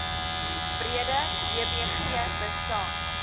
breede wbg bestaan